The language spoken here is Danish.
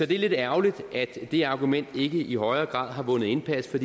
det er lidt ærgerligt at det argument ikke i højere grad har vundet indpas for